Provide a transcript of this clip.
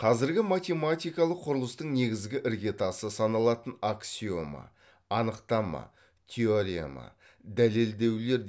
қазіргі математикалық құрылыстың негізгі іргетасы саналатын аксиома анықтама теорема дәлелдеулер